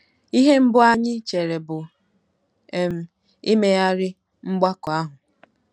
Ihe mbụ anyị chere bụ um imegharị mgbakọ ahụ.